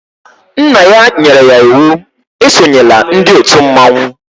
Nna ya nyere ya íwú e sonyela ndị òtù mmọnwụ